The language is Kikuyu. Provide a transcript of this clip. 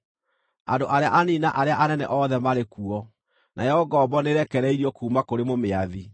Andũ arĩa anini na arĩa anene othe marĩ kuo, nayo ngombo nĩĩrekereirio kuuma kũrĩ mũmĩathi.